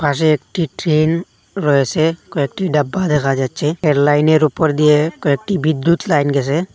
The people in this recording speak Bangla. পাশে একটি ট্রেন রয়েসে কয়েকটি ডাব্বা দেখা যাচ্ছে এর লাইন -এর ওপর দিয়ে কয়েকটি বিদ্যুৎ লাইন গেসে।